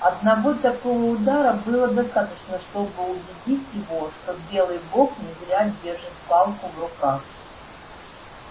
одного такого удара было достаточно чтобы убедить его что белый бог не зря держит палку в руках